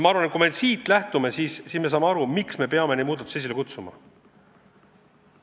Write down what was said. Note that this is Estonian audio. Ma arvan, et kui me sellest lähtume, siis me saame aru, miks me peame neid muudatusi esile kutsuma.